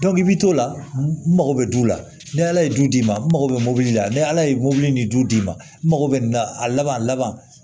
i b'i to o la n mago bɛ du la ni ala ye du d'i ma n mago bɛ mobili la ni ala ye mobili ni du d'i ma n mago bɛ nin na a laban a laban